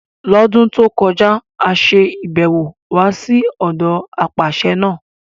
L'ọ́dún tó kọjá, a ṣe ibẹ̀ wò wá sí ọ̀dọ apàṣẹ náà.